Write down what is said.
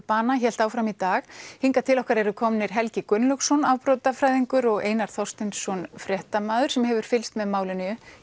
bana hélt áfram í dag hingað til okkar eru komnir Helgi Gunnlaugsson afbrotafræðingur og Einar Þorsteinsson fréttamaður sem hefur fylgst með málinu